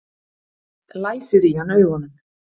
Læsir í hann augunum.